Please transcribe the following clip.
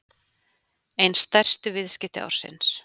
Ein stærstu viðskipti ársins